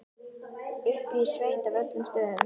Uppi í sveit af öllum stöðum.